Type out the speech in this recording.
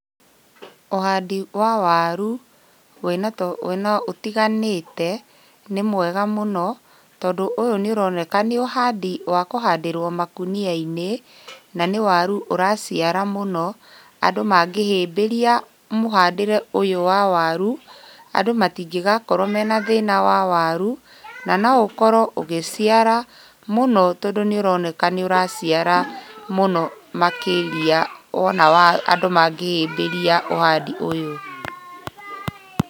Ũhandi wa waru, wĩna ũtiganĩte nĩ mwega mũno, tondũ ũyũ nĩ ũroneka nĩ ũhandi wa kũhandĩrwo makũnia-inĩ, na nĩ waru ũraciara mũno, andũ mangĩhĩmbĩria mũhandĩre ũyũ wa waru, andũ matingĩgakorwo mena thĩna wa waru, na noũkorwo ũgĩciara mũno tondũ nĩũroneka nĩũraciara mũno makĩria wona wa andũ mangĩhĩmbĩria ũhandi ũyũ.